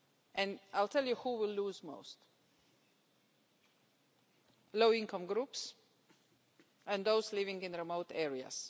And I'll tell you who would lose most low-income groups and those living in remote areas.